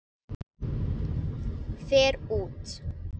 Fer út.